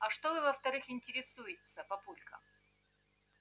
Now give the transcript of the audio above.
а что во-вторых интересуется папулька